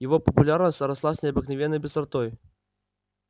его популярность росла с необыкновенной быстротой